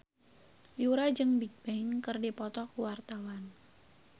Yura jeung Bigbang keur dipoto ku wartawan